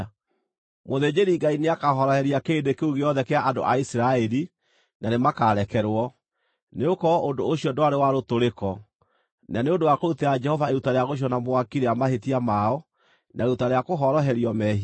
Mũthĩnjĩri-Ngai nĩakahoroheria kĩrĩndĩ kĩu gĩothe kĩa andũ a Isiraeli, na nĩmakarekerwo, nĩgũkorwo ũndũ ũcio ndwarĩ wa rũtũrĩko, na nĩ ũndũ wa kũrutĩra Jehova iruta rĩa gũcinwo na mwaki rĩa mahĩtia mao, na iruta rĩa kũhoroherio mehia.